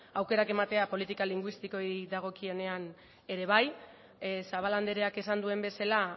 aukerak ematea politika linguistikoei dagokienean ere bai zabala andreak esan duen bezala